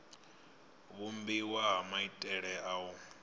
vhumbiwa ha maitele a u